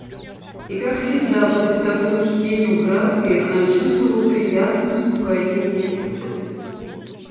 и как всегда после такого чтения украдкой она чувствовала приятное успокоение